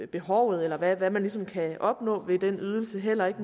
behovet eller hvad man ligesom kan opnå ved den ydelse og heller ikke